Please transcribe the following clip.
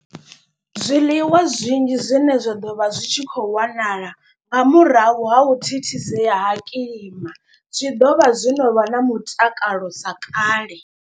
Zwiḽiwa zwinzhi zwine zwa ḓo vha zwi tshi khou wanala nga murahu ha u thithisea ha kilima. Zwi ḓo vha zwo no vha na mutakalo sa kale.